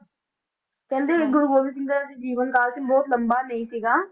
ਕਹਿੰਦੇ ਗੁਰੂ ਗੋਬਿੰਦ ਸਿੰਘ ਜੀ ਦਾ ਜੀਵਨ ਕਾਲ ਸੀ ਬਹੁਤ ਲੰਬਾ ਨਹੀਂ ਸੀਗਾ,